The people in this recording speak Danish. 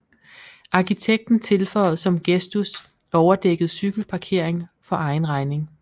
Arkitekten tilføjede som gestus overdækket cykelparkering for egen regning